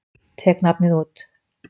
Tek nafnið út.